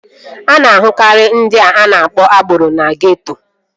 A na-ahụkarị ndị a na-akpọ agboro na geeto